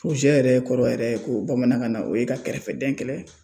yɛrɛ kɔrɔ yɛrɛ ko bamanankan na o ye ka kɛrɛfɛdɛn kɛlɛ.